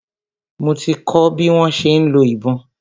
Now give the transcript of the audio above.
Mo ti kọ́ bi wọ́n ṣe ń lo ìbọn.